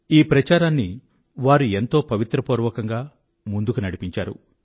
ఈ ప్రచారాన్ని వారు ఎంతో పవిత్రపూర్వకంగా ముందుకు నడిపించారు